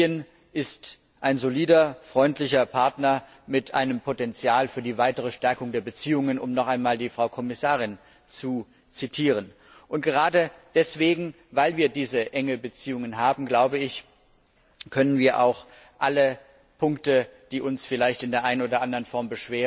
Tunesien ist ein solider und freundlicher Partner mit einem Potential für die weitere Stärkung der Beziehungen, um noch einmal die Frau Kommissarin zu zitieren. Gerade weil wir diese engen Beziehungen haben, können wir auch alle Punkte, die uns vielleicht in der einen oder anderen Form